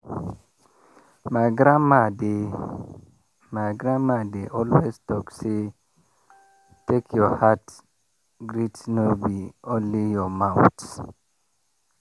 my grandma dey my grandma dey always talk say “take your heart greet no be only your mouth.”